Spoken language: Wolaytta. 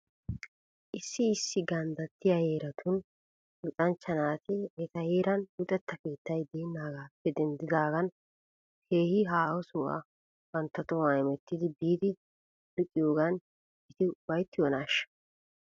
Issi issi ganddattiyaa heeratuura luxanchcha naati eta heeran luxetta keettay deennaagaappe denddidaagan keehi haaho sohuwaa bantta tohuwan hemetti biidi luxiyoogan eti ufayttiyoonaashsha?